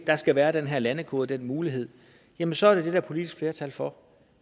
der skal være den her landekode og den mulighed jamen så er det det der er politisk flertal for